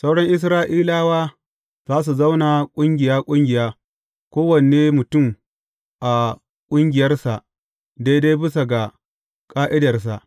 Sauran Isra’ilawa za su zauna ƙungiya ƙungiya, kowane mutum a ƙungiyarsa daidai bisa ga ƙa’idarsa.